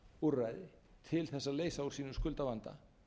úrræði til þess að leysa úr sínum skuldavanda